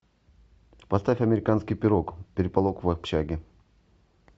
поставь американский пирог переполох в общаге